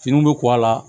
Finiw bɛ ko a la